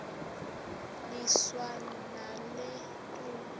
niswa nale ntombi